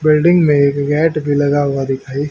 building में gate भी लगा हुआ दिखाई--